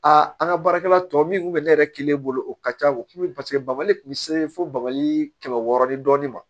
an ka baarakɛla tɔ min kun bɛ ne yɛrɛ kelen bolo o ka ca o kun ye paseke bakali kun bɛ se fo bagali kɛmɛ wɔɔrɔ ni dɔɔnin ma